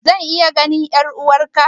Zan iya ganin 'yar'uwarku?